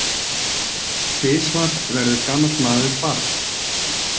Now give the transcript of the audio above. Tvisvar verður gamall maður barn.